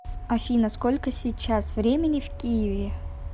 афина сколько сейчас времени в киеве